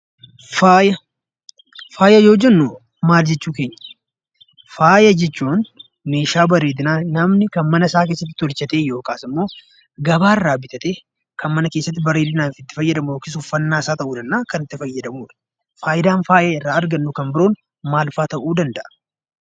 Faaya yoo jennu maal jechuu keenya? Faaya jechuun meeshaa bareedinaa namni kan mana isaa keessatti tolchatee yookiin immoo gabaa irraa bitatee, kan mana keessatti bareedinaaf itti fayyadamudha. Faayidaan faaya irraa argannu kan biroon maalfaa ta'uu danda'a?